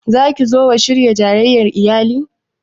Za ki zo wa shirya jayayyar iyali?